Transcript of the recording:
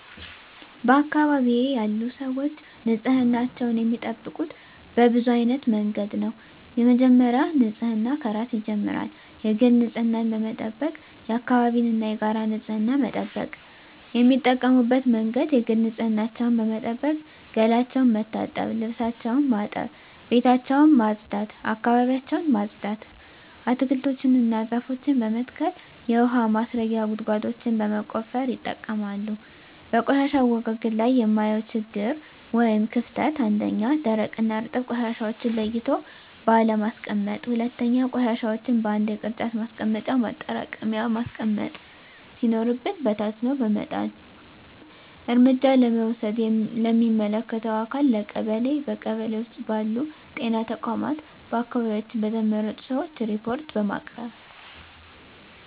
በአካባቢዬ ያሉ ሰዎች ንፅህናቸውን የሚጠብቁት በብዙ አይነት መንገድ ነው በመጀመሪያ ንፅህና ከራስ ይጀምራል የግል ንፅህናን በመጠበቅ የአካባቢን እና የጋራ ንፅህና መጠበቅ። የሚጠቀሙበት መንገድ የግል ንፅህናቸውን በመጠበቅ ገላቸውን መታጠብ ልብሳቸውን ማጠብ ቤታቸውን ማፅዳት አካባቢያቸውን ማፅዳት። አትክልቶችን እና ዛፎችን በመትከል የውሀ ማስረጊያ ጉድጓዶችን በመቆፈር ይጠቀማሉ። በቆሻሻ አወጋገድ ላይ የማየው ችግር ወይም ክፍተት 1ኛ, ደረቅና እርጥብ ቆሻሻዎችን ለይቶ ባለማስቀመጥ 2ኛ, ቆሻሻዎችን በአንድ የቅርጫት ማስቀመጫ ማጠራቀሚያ ማስቀመጥ ሲኖርብን በታትኖ በመጣል። እርምጃ ለመውሰድ ለሚመለከተው አካል ለቀበሌ ,በቀበሌ ውስጥ ባሉ ጤና ተቋማት በአካባቢያችን በተመረጡ ሰዎች ሪፓርት በማቅረብ።